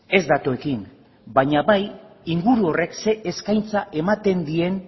ez datuekin baina bai inguru horrek ze eskaintza ematen dien